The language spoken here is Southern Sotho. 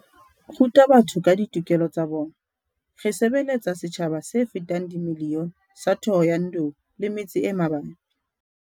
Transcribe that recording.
ruta batho ka ditokelo tsa bona. Re sebeletsa setjhaba se fetang miliyone sa Thohoyandou le metse e mabapi.